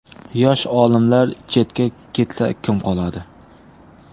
Yosh olimlar chetga ketsa kim qoladi?